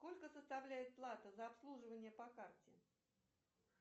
сколько составляет плата за обслуживание по карте